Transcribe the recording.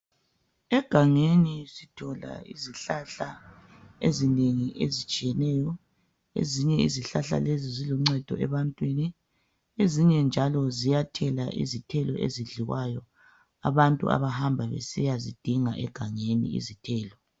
Egangeni sithola izihlahla ezinengi ezitshiyeneyo ezinye izihlahla lezi zilungcedo ebantwini ezinye njalo ziyathela izithelo ezidliwayo abantu abahamba besiyazidinga egangeni izithelo